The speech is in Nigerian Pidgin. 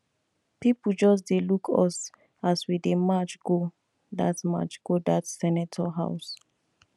people just dey look us as we dey march go dat march go dat senator house